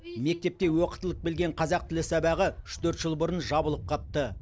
мектепте оқытылып келген қазақ тілі сабағы үш төрт жыл бұрын жабылып қапты